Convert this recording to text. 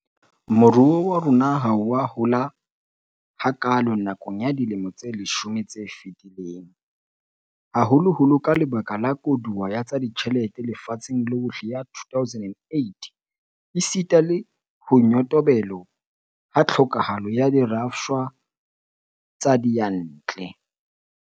Moruo wa rona ha o a hola hakaalo nakong ya dilemo tse leshome tse fetileng, haholoholo ka lebaka la koduwa ya tsa ditjhelete lefatsheng lohle ya 2008 esita le ho nyotobelo ha tlhokahalo ya dirafshwa tsa diyantle.